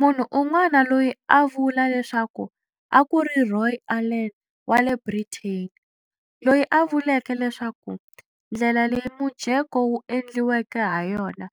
Munhu un'wana loyi a a vula leswaku a ku ri Roy Allen wa le Britain, loyi a vuleke leswaku ndlela leyi mujeko wu endliweke ha yona